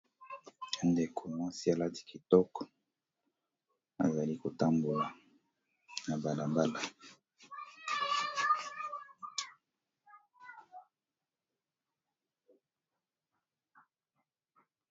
Ndeko mwasi aladi kitoko azali kotambwa na mbala mbala.